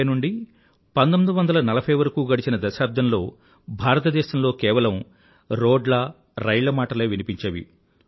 1930 నుండీ 1940 వరకూ గడిచిన దశాబ్దంలో భారతదేశంలో కేవలం రోడ్ల రైళ్ల మాటలే వినిపించేవి